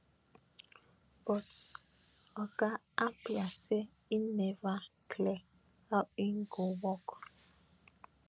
but oga harper say e neva clear how im go work